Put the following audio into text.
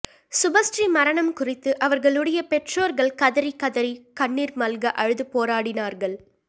சுபஸ்ரீ மரணம் குறித்து அவர்களுடைய பெற்றோர்கள் கதறி கதறி கண்ணீர் மல்க அழுது போராடினார்கள்